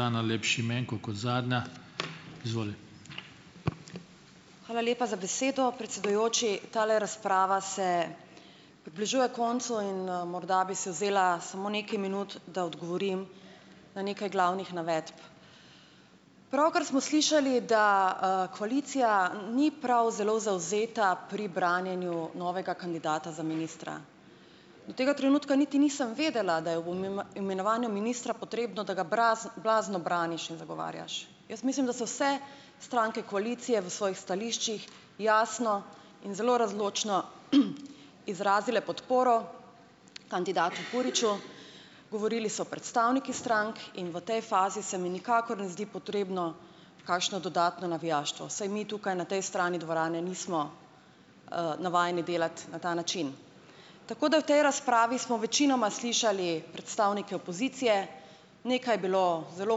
Hvala lepa za besedo, predsedujoči! Tale razprava se približuje koncu in, morda bi si vzela samo nekaj minut, da odgovorim na nekaj glavnih navedb. Pravkar smo slišali, da, koalicija, ni prav zelo zavzeta pri branjenju novega kandidata za ministra. Do tega trenutka niti nisem vedela, da je bo mi ma imenovanju ministra potrebno, da ga blazno braniš in zagovarjaš. Jaz mislim, da so vse stranke koalicije v svojih stališčih jasno in zelo razločno izrazile podporo kandidatu Puriču. Govorili so predstavniki strank in v tej fazi se mi nikakor ne zdi potrebno kakšno dodatno navijaštvo, saj mi tukaj na tej strani dvorane nismo, navajeni delati na ta način. Tako da v tej razpravi smo večinoma slišali predstavnike opozicije. Nekaj je bilo zelo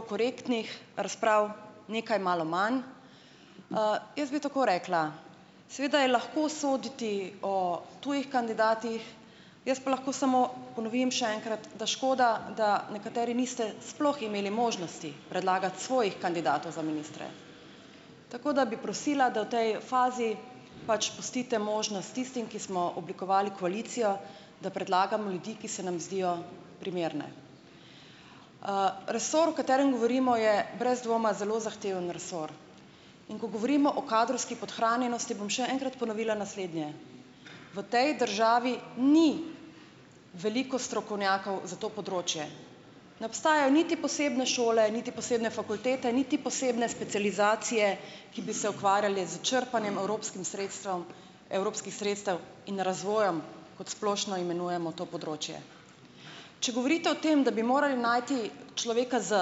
korektnih razprav, nekaj malo manj ... Jaz bi tako rekla, seveda je lahko soditi o tujih kandidatih, jaz pa lahko samo ponovim še enkrat, da škoda, da nekateri niste sploh imeli možnosti predlagati svojih kandidatov za ministre. Tako da bi prosila, da v tej fazi pač pustite možnost tistim, ki smo oblikovali koalicijo, da predlagamo ljudi, ki se nam zdijo primerne. Resor, o katerem govorimo, je brez dvoma zelo zahteven resor. In ko govorimo o kadrovski podhranjenosti, bom še enkrat ponovila naslednje: v tej državi ni veliko strokovnjakov za to področje, ne obstajajo niti posebne šole niti posebne fakultete niti posebne specializacije, ki bi se ukvarjale s črpanjem evropskim sredstvom, evropskih sredstev in razvojem, kot splošno imenujemo to področje. Če govorite o tem, da bi morali najti človeka z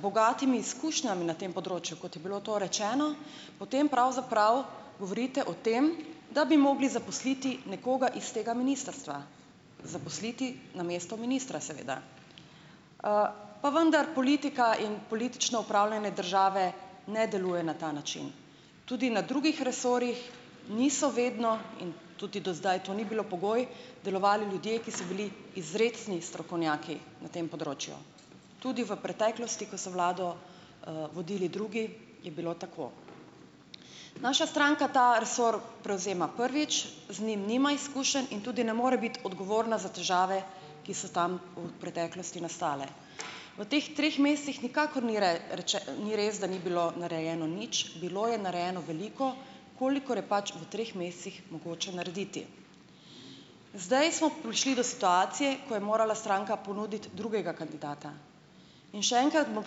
bogatimi izkušnjami na tem področju, kot je bilo to rečeno, potem pravzaprav govorite o tem, da bi mogli zaposliti nekoga iz tega ministrstva, zaposliti namesto ministra, seveda. Pa vendar, politika in politično upravljanje države ne deluje na ta način. Tudi na drugih resorjih niso vedno - in tudi do zdaj to ni bilo pogoj - delovali ljudje, ki so bili izrecni strokovnjaki na tem področju. Tudi v preteklosti, ko so vlado, vodili drugi, je bilo tako. Naša stranka ta resor prevzema prvič, z njim nima izkušenj in tudi ne more biti odgovorna za težave, ki so tam v preteklosti nastale. V teh treh mesecih nikakor ni rečeno, ni res, da ni bilo narejeno nič, bilo je narejeno veliko, kolikor je pač v treh mesecih mogoče narediti. Zdaj smo prišli do situacije, ki je morala stranka ponuditi drugega kandidata. In še enkrat bom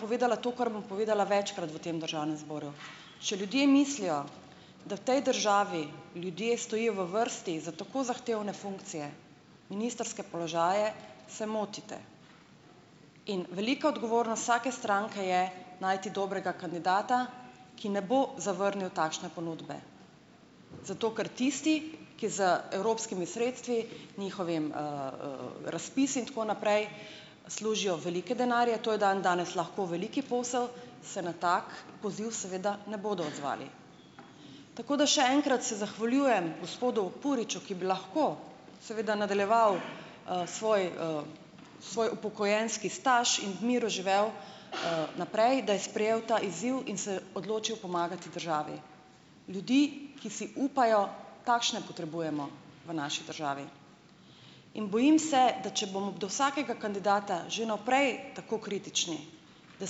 povedala to, kar bom povedala večkrat v tem državnem zboru; če ljudje mislijo, da v tej državi ljudje stojijo v vrsti za tako zahtevne funkcije, ministrske položaje, se motite. In velika odgovornost vsake stranke je najti dobrega kandidata, ki ne bo zavrnil takšne ponudbe, zato ker tisti, ki z evropskimi sredstvi, njihovimi, razpisi in tako naprej, služijo velike denarje, to je dandanes lahko velik posel, se na tak poziv seveda ne bodo odzvali. Tako da še enkrat se zahvaljujem gospodu Puriču, ki bi lahko seveda nadaljeval, svoj, svoj upokojenski staž in v miru živel, naprej, da je sprejel ta izziv in se odločil pomagati državi. Ljudi, ki si upajo, takšne potrebujemo v naši državi. In bojim se, da če bomo do vsakega kandidata že vnaprej tako kritični, da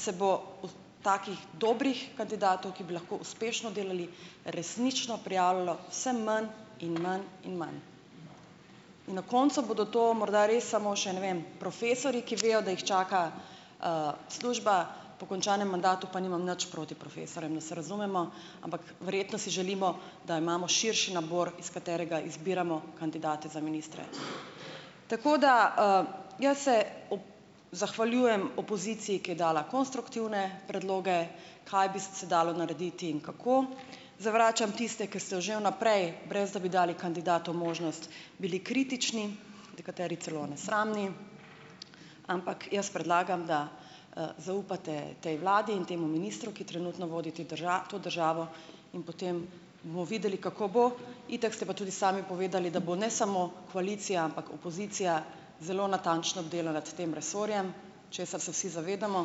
se bo o takih dobrih kandidatov, ki bi lahko uspešno delali, resnično prijavljalo vse manj in manj in manj. In na koncu bodo to morda res samo še, ne vem, profesorji, ki vejo, da jih čaka, služba po končanem mandatu. Pa nimam nič proti profesorjem, da se razumemo, ampak verjetno si želimo, da imamo širši nabor, iz katerega izbiramo kandidate za ministre. Tako da, jaz se ob zahvaljujem opoziciji, ki je dala konstruktivne predloge, kaj bi se dalo narediti in kako. Zavračam tiste, ki ste že vnaprej, brez da bi dali kandidatu možnost, bili kritični, nekateri celo nesramni, ampak jaz predlagam, da, zaupate tej vladi in temu ministru, ki trenutno vodi te to državo, in potem bomo videli, kako bo. Itak ste pa tudi sami povedali, da bo ne samo koalicija, ampak opozicija zelo natančno bdela nad tem resorjem, česar se vsi zavedamo,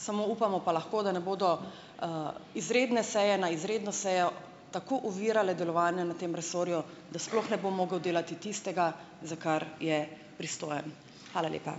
samo upamo pa lahko, da ne bodo, izredne seje na izredno sejo tako ovirale delovanja na tem resorju, da sploh ne bo mogel delati tistega, za kar je pristojen. Hvala lepa.